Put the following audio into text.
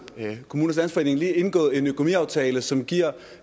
kommunernes landsforening lige indgået en økonomiaftale som giver